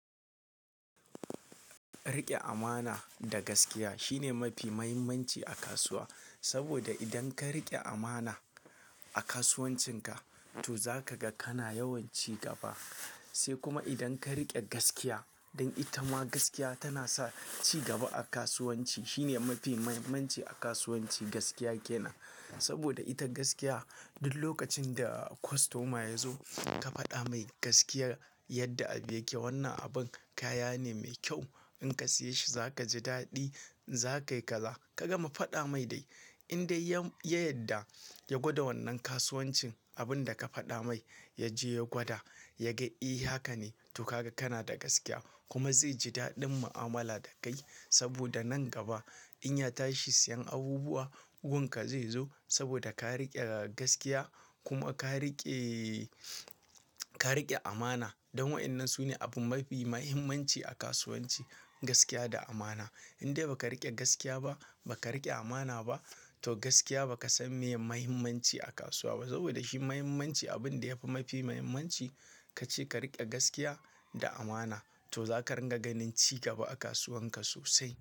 Riƙe amana da gaskiya shine mafi muhimmanci a kasuwa. Saboda idan ka riƙe amana a kasuwancinka to za ka ga kana yawanci gaba. Sai kuma idan ka riƙe gaskiya, don ita ma gaskiya tana sa ci gaba a kasuwanci. Shine mafi muhimmanci a kasuwanci, gaskiya kenan. Saboda ita gaskiya duk lokacin da kostoma ya zo ka faɗa mai gaskiyar yadda ake. Wannan abin kaya ne mai kyau, in ka siya shi za kaji daɗi, za kayi kaza. Ka gama faɗa mai dai. In dai ya, yadda ya gwada wannan kasuwancin abin da ka faɗa mai, ya je ya gwada, ya ga eh haka ne, to ka ga kana da gaskiya. Kuma zai ji daɗin mu'amala da kai. Saboda nan gaba in ya tashi siyan abubuwa, gun ka zai zo. Saboda ka riƙe gaskiya kuma ka riƙe, ka riƙe amana. Don wa'inan su ne abin mafi muhimmanci a kasuwanci, gaskiya da amana. In dai ba ka riƙe gaskiya ba, ba ka riƙe amana ba to gaskiya ba ka san meye muhimmanci a kasuwa ba. Saboda shi muhimmanci abin da yafi mafi muhimmanci kace ka riƙe gaskiya da amana to zaka ringa ganin ci gaba a kasuwan ka sosai.